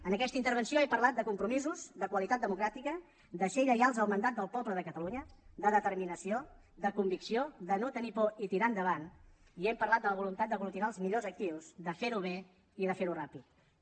en aquesta intervenció he parlat de compromisos de qualitat democràtica de ser lleials al mandat del poble de catalunya de determinació de convicció de no tenir por i tirar endavant i hem parlat de la voluntat d’aglutinar els millors actius de ferho bé i de ferho ràpidament